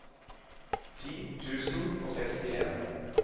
ti tusen og sekstien